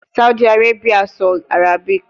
Saudi Arabia sọ Arabic